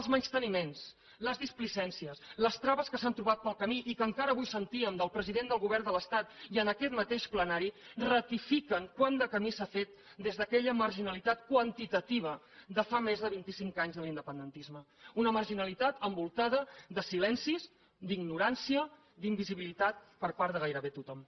els menysteniments les displicències les traves que s’han trobat pel camí i que encara avui sentíem del president del govern de l’estat i en aquest mateix plenari ratifiquen quant de camí s’ha fet des d’aquella marginalitat quantitativa de fa més de vint i cinc anys de l’independentisme una marginalitat envoltada de silencis d’ignorància d’invisibilitat per part de gairebé tothom